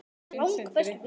Þinn, Sindri.